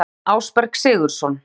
Aðalsteinn Ásberg Sigurðsson